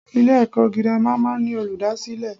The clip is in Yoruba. Ilè èkó girama máa n ní Olùdásílè